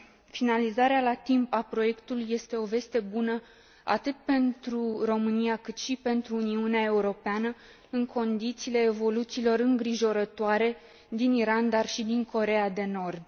Finalizarea la timp a proiectului este o veste bună atât pentru România, cât și pentru Uniunea Europeană, în condițiile evoluțiilor îngrijorătoare din Iran, dar și din Coreea de Nord.